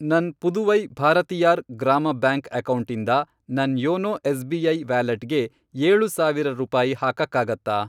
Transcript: ನನ್ ಪುದುವೈ ಭಾರತಿಯಾರ್ ಗ್ರಾಮ ಬ್ಯಾಂಕ್ ಅಕೌಂಟಿಂದ ನನ್ ಯೋನೋ ಎಸ್.ಬಿ.ಐ. ವ್ಯಾಲೆಟ್ಗೆ ಏಳು ಸಾವಿರ ರೂಪಾಯಿ ಹಾಕಕ್ಕಾಗತ್ತಾ?